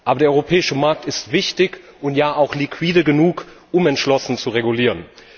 Aber der europäische Markt ist wichtig und ja auch liquide genug, um entschlossen zu regulieren.